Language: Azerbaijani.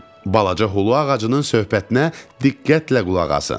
Balaca xulu ağacının söhbətinə diqqətlə qulaq asın.